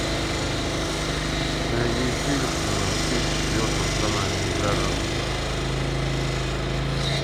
найди фильм на тридцать четвертом канале игра разума